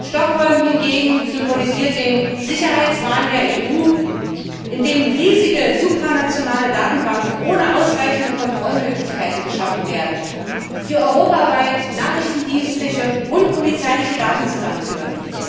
Stockholm hingegen symbolisiert den Sicherheitswahn der EU, in dem riesige supranationale Datenbanken ohne ausreichende Kontrollmöglichkeiten geschaffen werden, die europaweit nachrichtendienstliche und polizeiliche Daten zusammenführen.